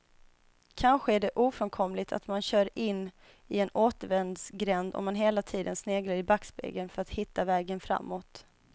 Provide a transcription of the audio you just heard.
Kanske är det ofrånkomligt att man kör in i en återvändsgränd om man hela tiden sneglar i backspegeln för att hitta vägen framåt.